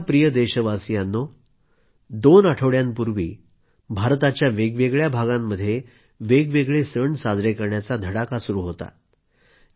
माझ्या प्रिय देशवासियांनो दोन आठवड्यापूर्वी भारताच्या वेगवेगळ्या भागामध्ये वेगवेगळे सण साजरे करण्याचा धडाका सुरू होता